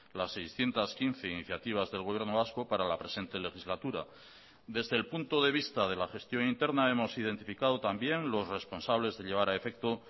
las seiscientos quince iniciativas del gobierno vasco para la presente legislatura desde el punto de vista de la gestión interna hemos identificado también los responsables de llevar a efecto